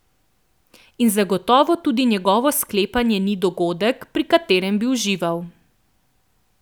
In zagotovo tudi njegovo sklepanje ni dogodek, pri katerem bi uživali.